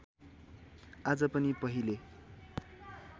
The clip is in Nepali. आज पनि पहिले